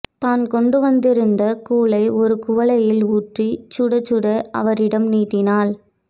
தான் கொண்டு வந்திருந்த கூழை ஒரு குவளையில் ஊற்றிச் சுட சுட அவரிடம் நீட்டினாள்